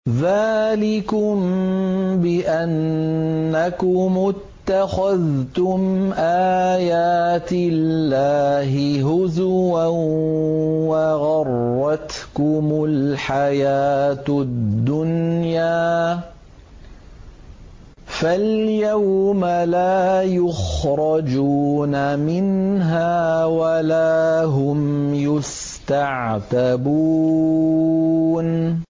ذَٰلِكُم بِأَنَّكُمُ اتَّخَذْتُمْ آيَاتِ اللَّهِ هُزُوًا وَغَرَّتْكُمُ الْحَيَاةُ الدُّنْيَا ۚ فَالْيَوْمَ لَا يُخْرَجُونَ مِنْهَا وَلَا هُمْ يُسْتَعْتَبُونَ